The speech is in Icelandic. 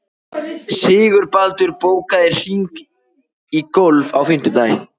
Sigurbaldur, bókaðu hring í golf á fimmtudaginn.